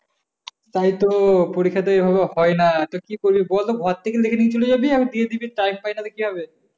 তাই তো পরীক্ষাতো এইভাবে হয়না। তো কি করবি বল? ঘর থেকে লিখে নিয়ে চলে যাবি আর দিয়ে দিবি time পায় না তা কি হবে?